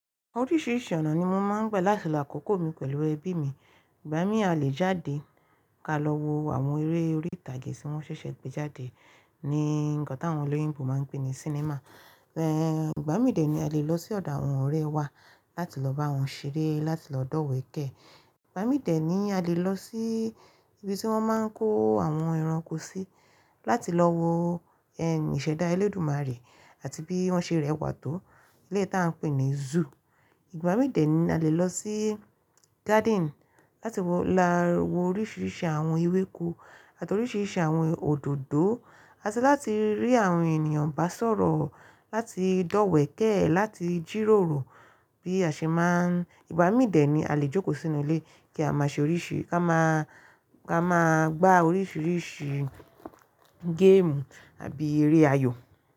Oríṣiríṣi ọ̀nà ni mo máa ń gba láti lo àkókò mi pẹ̀lú ẹbí mi. Ìgbà míi à lé jáde ká lọ wo àwọn eré orí ìtàgé tí wọ́n ṣẹ̀ṣẹ̀ gbé jáde ní nkán tí àwọn olóyìnbo máa ń pè ní cinema. Ẹ̀n Ìgbà mí dè ní a lè lọ sí ọ̀dọ̀ àwọn ọ̀rẹ́ wa láti lọ bá wọn ṣeré, láti lọ dọ̀wẹ̀kẹ̀. Ìgbà mí dẹ ní a lè lọ sí ibi tí wọ́n máa ń kó àwọn ẹranko sí láti lọ wo ẹ̀m iṣẹ̀dá Elédùmarè àti bí wọ́n ṣe rẹwà tó, ilé tí a ń pè ní zoo. Ìgbà mí dè ni a lè lọ sí garden láti lọ wo oríṣiríṣi àwọn ewéko àti oríṣiríṣi àwọn òdòdó, àti láti rí àwọn ènìyàn bá sọ̀rọ̀, láti dọ̀wẹ̀kẹ̀, láti jìròrò bí a ṣe máa ń. Ìgbà mí dè ni a lè jókòó sínú ilé kí a máa ṣe oríṣiríṣi ká máa, ká máa gbá oríṣiríṣi game àbí eré ayò.